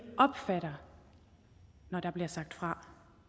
opfatter når der bliver sagt fra